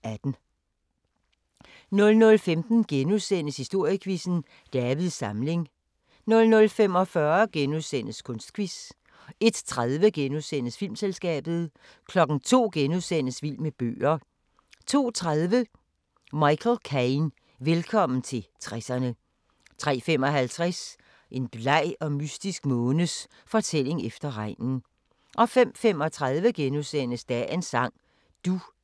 00:15: Historiequizzen: Davids Samling * 00:45: Kunstquiz * 01:30: Filmselskabet * 02:00: Vild med bøger * 02:30: Michael Caine – Velkommen til 60'erne 03:55: En bleg og mystisk månes fortælling efter regnen 05:35: Dagens sang: Du er *